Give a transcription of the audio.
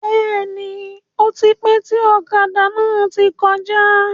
Bẹ́ẹ̀ni, ótipẹ́ tí ọ̀kadà náà tí kọjá.